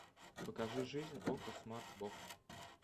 покажи жизнь окко смарт бокс